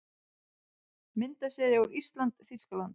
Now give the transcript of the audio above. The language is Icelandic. Myndasería úr ÍSLAND- Þýskaland